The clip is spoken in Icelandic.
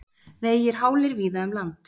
Vegir hálir víða um land